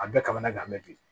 A bɛɛ ka kan ne ka gan bɛ dun